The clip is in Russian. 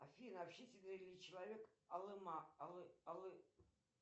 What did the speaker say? афина общительный ли человек алы ма алы алы